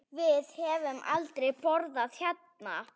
Við höfum aldrei borðað hérna.